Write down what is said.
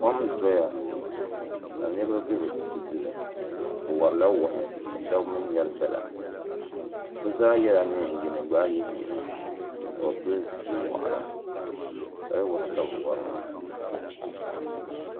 Kom n-doya ka niriba be di duli bɛ wari wahi ka shɛba mi ŋmɛri dala bɛ zaa yela neen'yini gbaai yihi yino ka bɛ pili zipili waɣila kali wahi ka bɛ wari maa.